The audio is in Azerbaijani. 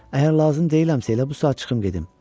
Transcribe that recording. Əgər lazım deyiləmsə, elə bu saat çıxım gedim.